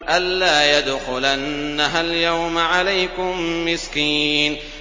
أَن لَّا يَدْخُلَنَّهَا الْيَوْمَ عَلَيْكُم مِّسْكِينٌ